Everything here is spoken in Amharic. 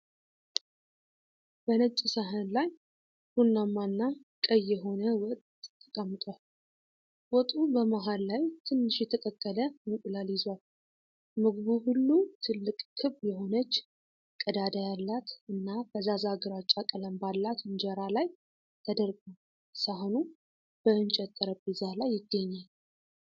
በነጭ ሳህን ላይ ቡናማና ቀይማ የሆነ ወጥ ተቀምጧል። ወጡ በመሃል ላይ ትንሽ የተቀቀለ እንቁላል ይዟል። ምግቡ ሁሉ ትልቅ ክብ የሆነች፣ ቀዳዳ ያላት እና ፈዛዛ ግራጫ ቀለም ባላት እንጀራ ላይ ተደርጓል። ሳህኑ በእንጨት ጠረጴዛ ላይ ይገኛል።